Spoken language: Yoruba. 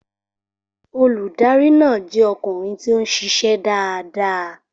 Olùdarí náà jẹ́ ọkùnrin tí ó ń ṣiṣẹ́ dáadáa.